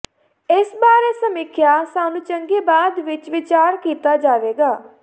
ਇਸ ਬਾਰੇ ਸਮੀਖਿਆ ਸਾਨੂੰ ਚੰਗੀ ਬਾਅਦ ਵਿੱਚ ਵਿਚਾਰ ਕੀਤਾ ਜਾਵੇਗਾ